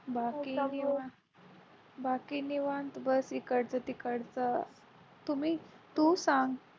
बाकी निवांत बसले इकडच तिकडच तुम्ही तु सांग